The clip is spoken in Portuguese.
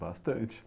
Bastante.